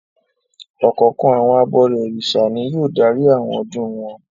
Ọ̀kọ̀ọ̀kan àwọn abọrẹ̀ Orìṣà ni yóò darí àwọn ọdún wọn.